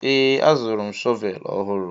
Ee, azụrụ m shọvel ọhụrụ.